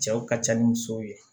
Cɛw ka ca ni musow ye